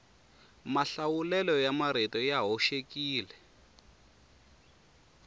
mahlawulelo ya marito ya hoxekile